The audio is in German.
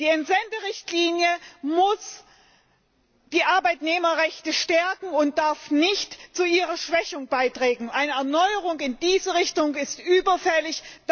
Die Entsenderichtlinie muss die Arbeitnehmerrechte stärken und darf nicht zu ihrer Schwächung beitragen. Eine Erneuerung in diese Richtung ist überfällig.